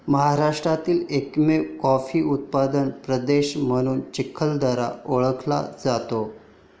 महाराष्ट्रातील एकमेव कॉफी उत्पादक प्रदेश म्हणून चिखलदरा ओळखला जातो.